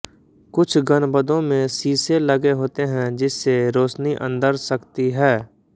कुछ गनबदों में शीशे लगे होते हैं जिससे रोशनी अंदर सकती है